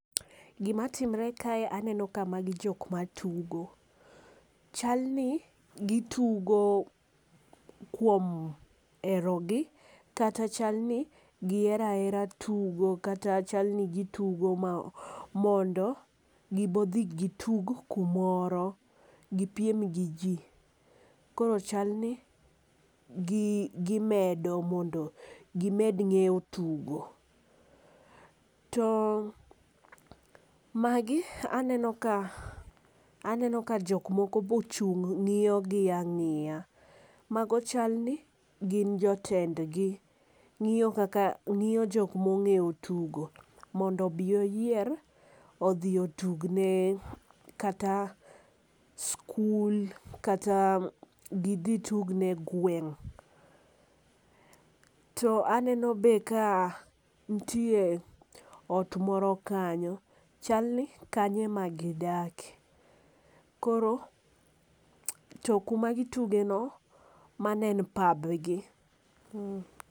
Gima timre kae aneno ka magi jok ma tugo to chal ni gi tugo kuom hero gi kata chalni gi hero ahera tugo kata chal ni gi tugo mondo gi bo dhi gi tug kumoro gi piem gi ji. Koro chal ni gi medo mondo gi med ng'eyo tugo. To magi aneno ka aneno ka aneno ka jok moko ochung' ng'iyo gi ang'iya. Mago chal ni gin jotend gi ,ng'iyo kaka ng'iyo jok ma ong'eyo tugo mondo obo oyier odhi otugne kata skul kata gi dhi tugne gweng'. To be aneno nitie ot moro kanyo chal ni kanyo ema gi dake. Koro to kuma gi tuge no mano en pab gi.